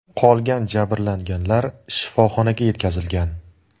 Qolgan jabrlanganlar shifoxonaga yetkazilgan.